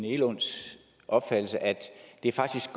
egelunds opfattelse at det faktisk